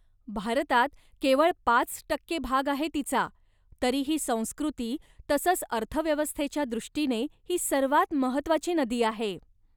भारतात केवळ पाच टक्के भाग आहे तिचा, तरीही संस्कृती, तसंच अर्थव्यवस्थेच्या दृष्टीने ही सर्वात महत्त्वाची नदी आहे.